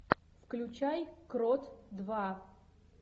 включай крот два